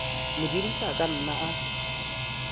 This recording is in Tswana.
modirisi a ka nna a